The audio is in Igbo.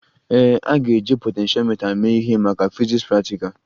Ee, a ga-eji potentiomita mee ihe maka fiziks praktikal